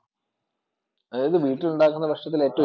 അതായതു വീട്ടിലുണ്ടാക്കുന്ന ഏറ്റവും ഇഷ്ടപെട്ടതേതന്നോ?